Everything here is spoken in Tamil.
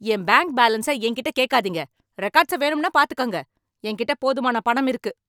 என் பேங்க் பேலன்ச என்கிட்ட கேக்காதீங்க. ரெக்காட்ஸ வேணும்னா பாத்துக்கோங்க. என்கிட்ட போதுமான பணம் இருக்கு.